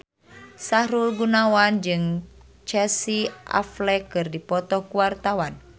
Sahrul Gunawan jeung Casey Affleck keur dipoto ku wartawan